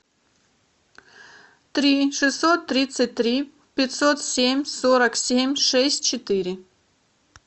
три шестьсот тридцать три пятьсот семь сорок семь шесть четыре